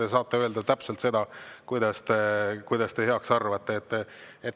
Te saate öelda täpselt seda, mida te heaks arvate.